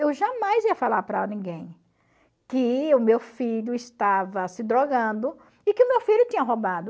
Eu jamais ia falar para ninguém que o meu filho estava se drogando e que o meu filho tinha roubado.